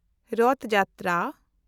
ᱨᱚᱛᱷ-ᱡᱟᱛᱨᱟ